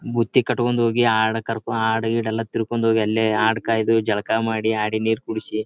ಬುತ್ತಿ ಕಟ್ಟಿಕೊಂಡು ಹೋಗಿ ಆಡ್ ಕರ್ ಆಡ್ ಗೀಡ್ ಎಲ್ಲ ತಿರ್ಕೊಂಡು ಹೋಗಿ ಅಲ್ಲೇ ಆಡ್ ಕಾಯ್ದು ಜಳಕ ಮಾಡಿ ಆಡಿಗ್ ನೀರ್ ಕುಡಿಸಿ--